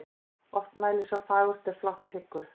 Oft mælir sá fagurt er flátt hyggur.